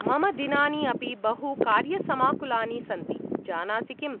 मम दिनानि अपि बहु कार्यसमाकुलानि सन्ति, जानासि किम्।